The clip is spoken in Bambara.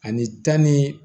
Ani tan ni